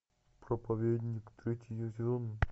проповедник третий сезон